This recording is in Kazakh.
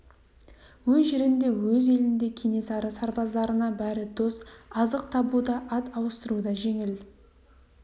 өз жерінде өз елінде кенесары сарбаздарына бәрі дос азық табу да ат ауыстыру да жеңіл